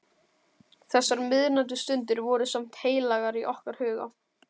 Þessar miðnæturstundir voru samt heilagar í okkar huga.